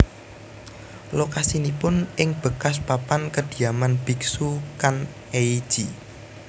Lokasinipun ing bekas papan kediaman biksu Kan ei ji